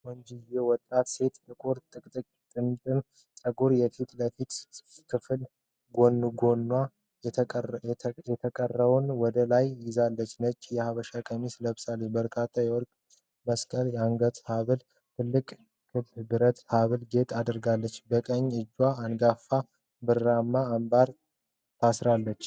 ቆንጆዋ ወጣት ሴት ጥቁር ጥምጥም ጸጉሯን የፊት ለፊት ክፍል ጎንጉና፣ የተቀረውን ወደ ላይ አስይዛለች። ነጭ የሐበሻ ቀሚስ ለብሳ፣ በርካታ የወርቅ መስቀል የአንገት ሐብልና ትልቅ ክብ ብር የሐብል ጌጥ አድርጋለች። በቀኝ እጇ አንጋፋ ብርማ አምባር ታስራለች።